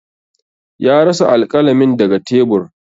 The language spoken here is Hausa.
Ya rasa alƙalamin daga tebur.